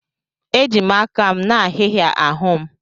Eji m aka m na-ahị́hị̀a ahụ́ m.